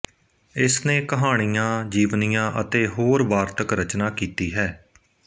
ਇਸਨੇ ਕਹਾਣੀਆਂ ਜੀਵਨੀਆਂ ਅਤੇ ਹੋਰ ਵਾਰਤਕ ਰਚਨਾ ਕੀਤੀ ਹੈ